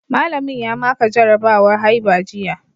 Mallamin ya maka jarabawa haiba jiya